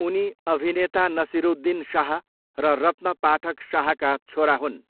उनी अभिनेता नसिरुद्दिन शाह र रत्न पाठक शाहका छोरा हुन्।